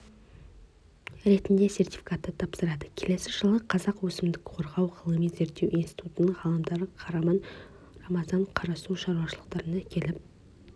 ретінде сертификатты тапсырады келесі жылы қазақ өсімдік қорғау ғылыми-зерттеу институтының ғалымдары қараман-к рамазан-қарасу шаруашылықтарына келіп